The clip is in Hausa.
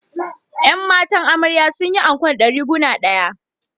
’Yan matan amarya sun yi anko ɗariguna ɗaya